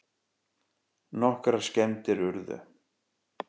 Nokkrar skemmdir urðu